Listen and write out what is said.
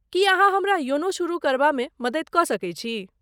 की अहाँ हमरा योनो शुरू करबामे मदति कऽ सकैत छी?